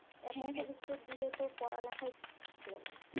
দিলে তো পড়া লেখায় হলো না,